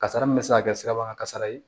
Kasara min bɛ se ka kɛ sirabakan kasara ye